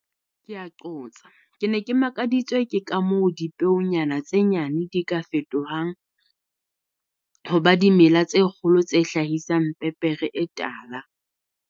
Ke ne ke makaditswe ke ka moo dipeonyana tse nyane di ka fetohang ho ba dimela tse kgolo tse hlahisang pepere e tala.